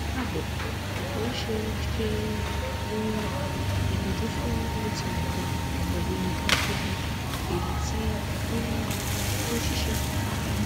kaabo mo n ṣe ṣe um itọju fun uti kan pẹlu macrobid eyiti um o n ṣiṣẹ